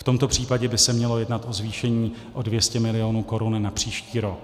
V tomto případě by se mělo jednat o zvýšení o 200 mil. korun na příští rok.